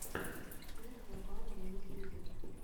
трек габара на ютюбе